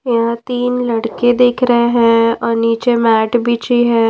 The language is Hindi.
यहां तीन लड़के दिख रहे हैं और नीचे मैट बिछी है।